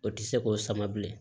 O tɛ se k'o sama bilen